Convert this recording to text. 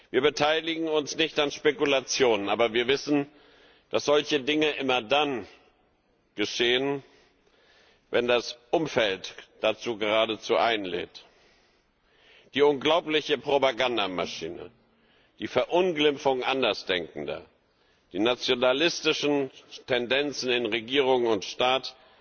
Wir beteiligen uns nicht an Spekulationen, aber wir wissen, dass solche Dinge immer dann geschehen, wenn das Umfeld dazu geradezu einlädt. Die unglaubliche Propagandamaschine, die Verunglimpfung Andersdenkender, die nationalistischen Tendenzen in Regierung und Staat